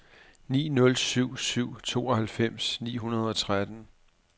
ni nul syv syv tooghalvfems ni hundrede og tretten